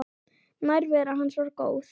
Nærvera hans var góð.